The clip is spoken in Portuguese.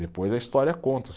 Depois a história conta.